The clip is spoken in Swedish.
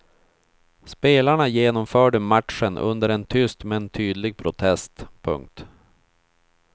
Spelarna genomförde matchen under en tyst men tydlig protest. punkt